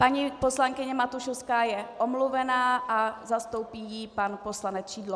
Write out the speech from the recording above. Paní poslankyně Matušovská je omluvena a zastoupí jí pan poslanec Šidlo.